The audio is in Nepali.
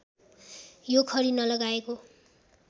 यो खरी नलगाएको